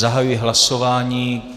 Zahajuji hlasování.